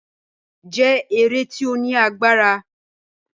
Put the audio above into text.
òṣèlú jẹ́ eré tí ó ní agbára.